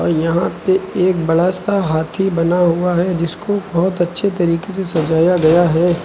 यहाँ पे एक बड़ा सा हाथी बना हुआ है जिसको बहुत अच्छे तरीके से सजाया गया है।